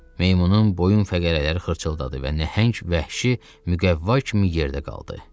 Meymunun boyun fəqərələri xırçıldadı və nəhəng vəhşi müqəvva kimi yerdə qaldı.